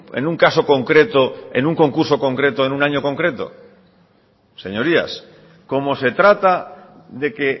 en un caso concreto en un concurso concreto en un año concreto señorías como se trata de que